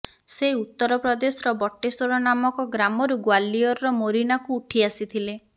ସେ ଉତ୍ତର ପ୍ରଦେଶର ବଟେଶ୍ୱର ନାମକ ଗ୍ରାମରୁ ଗୋଓ୍ବାଲିଅରର ମୋରିନାକୁ ଉଠି ଆସିଥିଲେ